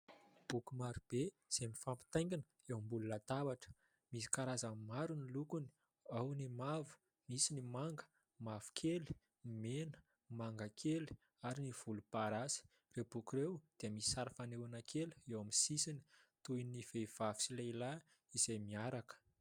Boky maro be izay mifampitaingina eo ambony latabatra ; misy karazany maro ny lokony ao ny mavo, misy ny manga, mavokely, mena, mangakely ary ny volomparasy. Ireo boky ireo dia misy sary fanehona kely eo amin'ny sisiny toy ny vehivavy sy lehilahy izay miaraka.